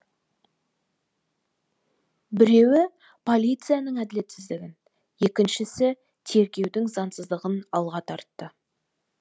біреуі полицияның әділетсіздігін екіншісі тергеудің заңсыздығын алға тартты